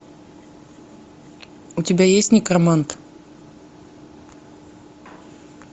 у тебя есть некромант